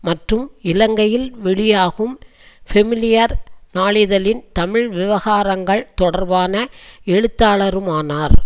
மற்றும் இலங்கையில் வெளியாகும் பெமிலியார் நாளிதழின் தமிழ் விவகாரங்கள் தொடர்பான எழுத்தாளருமானார்